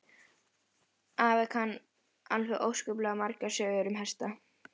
Afi kann alveg óskaplega margar sögur um hesta.